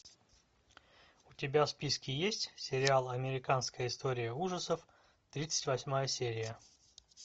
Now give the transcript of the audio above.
у тебя в списке есть сериал американская история ужасов тридцать восьмая серия